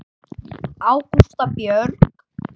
Ágústa Björg.